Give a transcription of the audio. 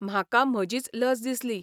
म्हाका म्हजीच लज दिसली.